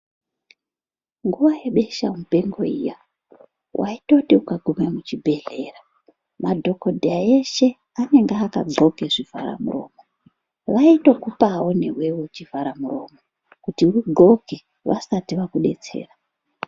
Nguva yebeshe mupengo iya waitoti ukaguma muchigwehleya madhongodheya eshe anenge akandwoka zvivhara muromo waitokupawo newe chivhara muromo kuti undwoke vasati vakubetsera .